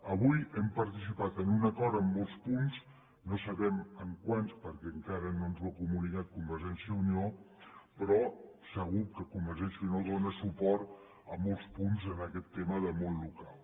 avui hem participat en un acord en molts punts no sabem en quants perquè encara no ens ho ha comunicat convergència i unió però segur que convergència i unió dóna suport a molts punts en aquest tema del món local